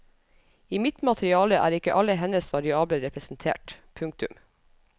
I mitt materiale er ikke alle hennes variabler representert. punktum